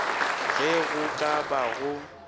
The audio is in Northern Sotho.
ge go ka ba go